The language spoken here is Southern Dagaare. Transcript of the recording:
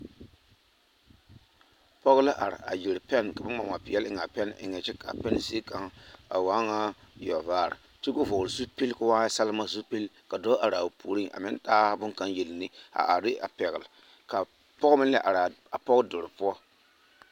Pɔɡe la are a yɛre pɛn ka ba ŋmaŋma peɛle eŋ a pɛn eŋɛ kyɛ ka a pɛn zie kaŋ a waa nyɛ yɔɡevaare kyɛ ka o vɔɔle zupili ka o waa nyɛ salema zupili ka dɔɔ are a o puoriŋ a meŋ taa bone kaŋ yele ne yɛlɛ a are ne a pɛɡele ka pɔɡe meŋ la are a pɔɡe deloŋ poɔ.